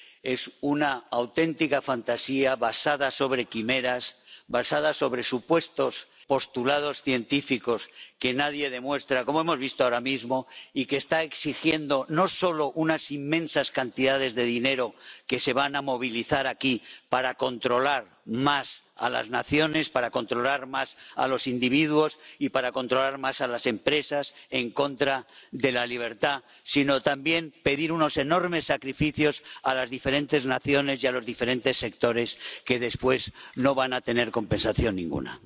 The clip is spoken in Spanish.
Es una auténtica fantasía, basada sobre quimeras, basada sobre supuestos postulados científicos, que nadie demuestra —como hemos visto ahora mismo—, que está exigiendo no solo unas inmensas cantidades de dinero, que se van a movilizar aquí, para controlar más a las naciones, para controlar más a los individuos y para controlar más a las empresas, en contra de la libertad, sino también unos enormes sacrificios a las diferentes naciones y a los diferentes sectores, que después no van a tener compensación ninguna.